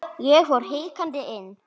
Ég fór hikandi inn.